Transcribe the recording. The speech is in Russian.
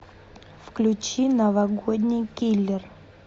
включи новогодний киллер